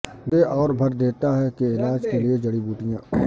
گردے اور بھر دیتا ہے کے علاج کے لئے جڑی بوٹیاں